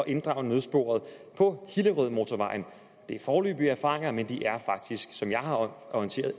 inddrage nødsporet på hillerødmotorvejen det er foreløbige erfaringer men de er faktisk som jeg har orienteret